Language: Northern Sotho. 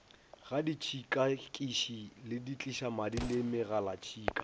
ga ditšhikakiši setlišamadi le megalatšhika